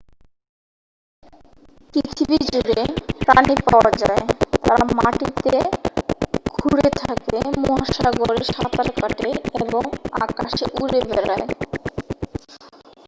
পৃথিবী জুড়ে প্রাণী পাওয়া যায় তারা মাটিতে খুঁড়ে থাকে মহাসাগরে সাঁতার কাটে এবং আকাশে উড়ে বেড়ায়